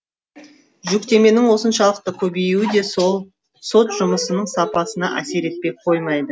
жүктеменің осыншалықты көбеюі де сот жұмысының сапасына әсер етпей қоймайды